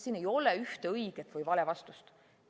Siin ei ole ühte õiget või vale vastust.